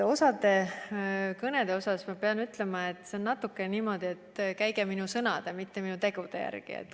Osa kõnede kohta ma pean ütlema, et see kõlas natuke niimoodi, et käige minu sõnade, mitte minu tegude järgi.